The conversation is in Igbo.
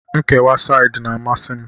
Nkewa saidị na-amasi m